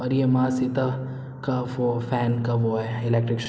और ये माँ सीता का वो फैन का वो है एलेक्ट्रस --